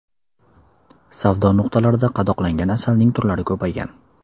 Savdo nuqtalarida qadoqlangan asalning turlari ko‘paygan.